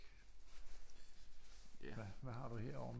Hvad har du herovre